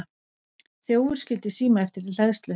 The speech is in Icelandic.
Þjófur skildi síma eftir í hleðslu